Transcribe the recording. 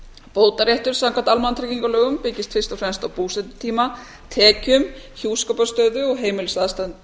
bótaréttur samkvæmt almannatryggingalögum byggist fyrst og fremst á búsetutíma tekjum hjúskaparstöðu og heimilisaðstæðum